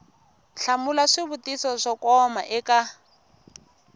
hlamula swivutiso swo koma eka